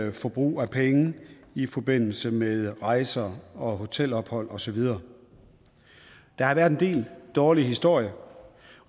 i forbrug af penge i forbindelse med rejser og hotelophold og så videre der har været en del dårlige historier